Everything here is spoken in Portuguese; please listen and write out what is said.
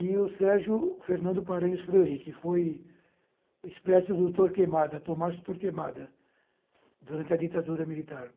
e o Sérgio Fernando Paranhos Fleury, que foi espécie do Torquemada, Tomás Torquemada, durante a ditadura militar.